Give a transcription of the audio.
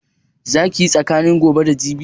Za ki yi saƙa ne gobe da jibi?